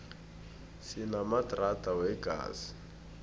sinamadrada wegezi